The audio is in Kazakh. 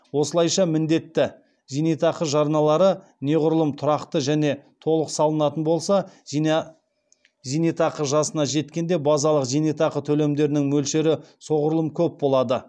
осылайша міндетті зейнетақы жарналары неғұрлым тұрақты және толық салынатын болса зейнетақы жасына жеткенде базалық зейнетақы төлемдерінің мөлшері соғұрлым көп болады